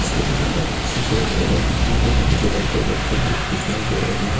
Ceiling पर सफेद एवं नीले रंग की लाइटें जलती हुई दिखाई दे रही हैं।